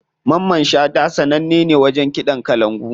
Mamman shata sananne ne wajen kiɗan kalangu.